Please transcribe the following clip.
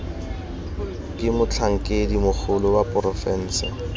ke motlhankedi mogolo wa porofense